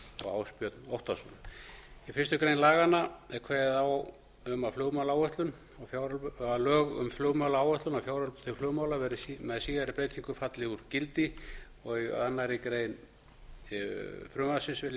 og ásbjörn óttarsson í fyrstu grein laganna er kveðið á um að lög um flugmálaáætlun og fjáröflun til flugmála með síðari breytingum falla úr gildi um aðra grein frumvarpsins